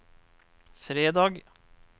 fredag